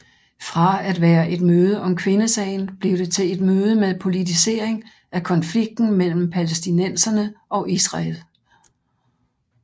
Fra at være et møde om kvindesagen blev det til et møde med politisering af konflikten mellem palæstinenserne og Israel